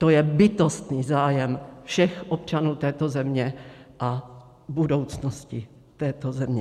To je bytostný zájem všech občanů této země a budoucnosti této země.